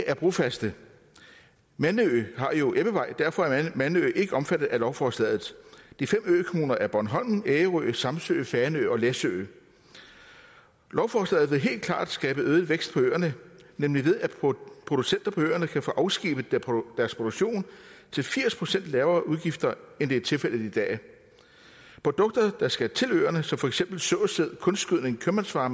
er brofaste mandø har jo ebbevej og derfor er mandø ikke omfattet af lovforslaget de fem økommuner er bornholm ærø samsø fanø og læsø lovforslaget vil helt klart skabe øget vækst på øerne nemlig ved at producenter på øerne kan få afskibet deres produktion til firs procent lavere udgifter end det er tilfældet i dag produkter der skal til øerne som for eksempel såsæd kunstgødning købmandsvarer